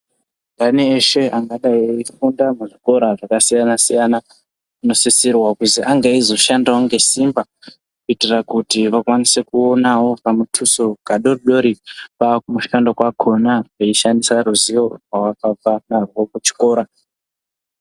Andani eshe angadai eifunda muzvikora zvakasiyana-siyana unosisirwa kuzi ange eizoshandavo ngesimba. Kuitira kuti vakwanise kuonavo kamutuso kadodori. Kwakumushando kwakona veishandisa ruzivo rwavakabva narwo kuzvikora.